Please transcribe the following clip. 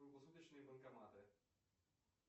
круглосуточные банкоматы